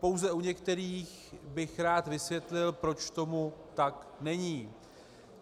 Pouze u některých bych rád vysvětlil, proč tomu tak není.